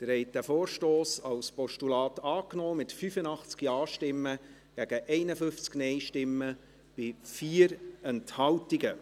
Sie haben diesen Vorstoss als Postulat angenommen, mit 85 Ja- gegen 51 Nein-Stimmen bei 4 Enthaltungen.